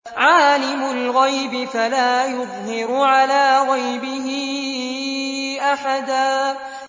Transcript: عَالِمُ الْغَيْبِ فَلَا يُظْهِرُ عَلَىٰ غَيْبِهِ أَحَدًا